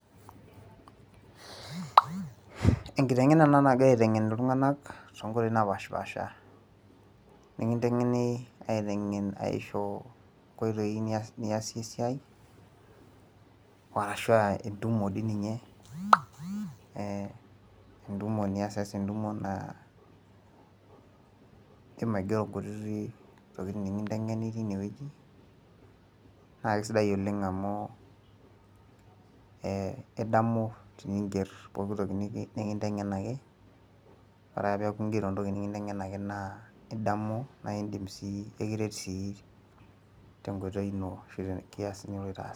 enkiteng'ena ena nagirae aiteng'en iltunganak too nkoitoi napaasha, nikintengeni aiteng'en aisho inkoitoi niyasie esiai, arashu aa entumo dii ninye e entumo niasiasa, entumo naa idim aigero inkuti tokitin nikinteng'eni teine. naa kisidai oleng amu idamu teniger intokitin nikinteng'enaki ore ake peeku igero entoki nikinteng'enaki naa idamu sii tenkoitoi ino ashu te ntoki niloito aas.